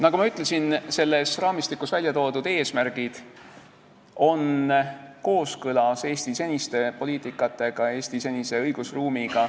Nagu ma ütlesin, selles raamistikus väljatoodud eesmärgid on kooskõlas Eesti senise poliitikaga, Eesti senise õigusruumiga.